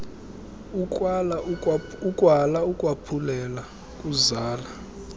ukwala ukwaphulela kuzala